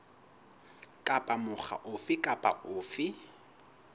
kapa mokga ofe kapa ofe